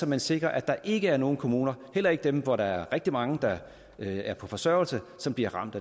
man sikrer at der ikke er nogen kommuner heller ikke dem hvor der er rigtig mange der er på forsørgelse som bliver ramt